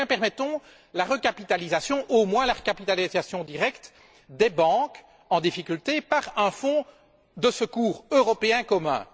Eh bien, permettons la recapitalisation, au moins la recapitalisation directe, des banques en difficulté par un fonds de secours européen commun.